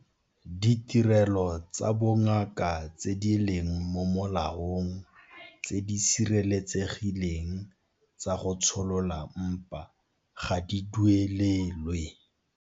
Ditirelo tsa bongaka tse di leng mo molaong tse di sireletsegileng tsa go tsholola mpa ga di duelelwe.